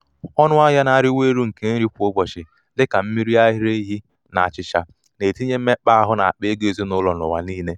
ọnụahịa na-arịwanye elu nke nri kwa ụbọchị dị ka mmiri ara ehi na achịcha na-etinye mmekpa áhù n’akpa ego ezinụlọ n’ụwa niile.